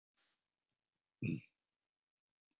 Loftskipti um tálkn